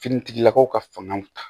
Finitigilakaw ka fanga